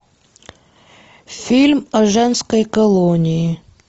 фильм о женской колонии